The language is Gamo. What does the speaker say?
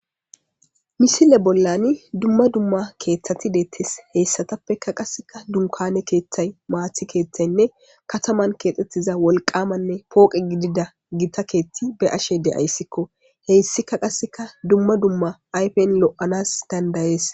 misile bollani dumma dumma keeththati deettes heyssatappeka qasseka dunkane keeththay maathi keethtaynne kataman keexxettiza wolqamanne pooqe gidida gita keethti be ashe de7ayssikko heyssika qasseka dumma dumma ayfen lo7anas dandayees